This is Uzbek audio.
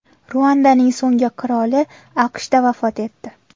Ruandaning so‘nggi qiroli AQShda vafot etdi.